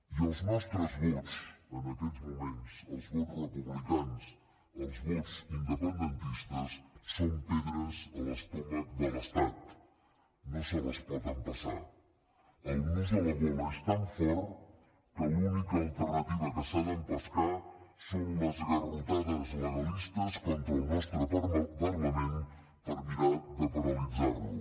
i els nostres vots en aquests moments els vots republicans els vots independentistes són pedres a l’estómac de l’estat no se les pot empassar el nus a la gola és tan fort que l’única alternativa que s’ha d’empescar són les garrotades legalistes contra el nostre parlament per mirar de paralitzar lo